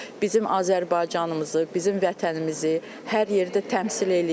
Bizim Azərbaycanımızı, bizim vətənimizi hər yerdə təmsil eləyir.